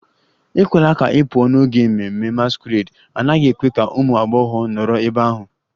Ekwela ka ị pụọ n'oge ememme masquerade! A naghị ekwe ka ụmụ agbọghọ nọrọ ebe ahụ.